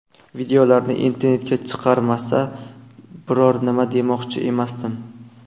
Videolarni internetga chiqarmasa, biror nima demoqchi emasdim.